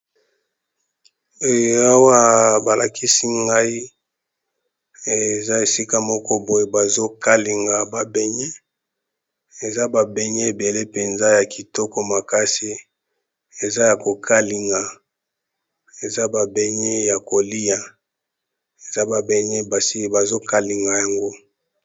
Awa bazo lakisa biso nzungu ya mafuta eza na moto bazo lamba mikate ebandi kobela.